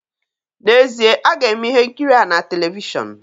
N'ezie, a ga-eme ihe nkiri a na televishọn